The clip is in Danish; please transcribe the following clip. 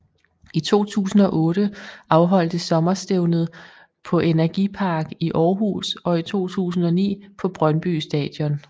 I 2008 afholdtes sommerstævnet på NRGi Park i Århus og i 2009 på Brøndby Stadion